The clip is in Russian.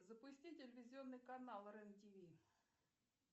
запусти телевизионный канал рен тв